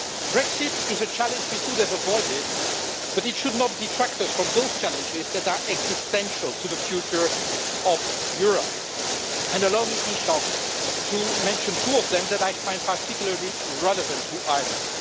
Brexit is a challenge we could have avoided, but it should not detract us from those challenges that are existential to the future of Europe. Allow me, Taoiseach, to mention two of them that I find particularly relevant to Ireland.